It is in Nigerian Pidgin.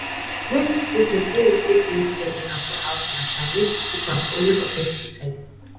no use bucket wey you take mix chemical for house matter make you keep am only for pesticide.